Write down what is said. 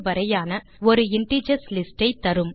அதாவது 1234 square bracket களில்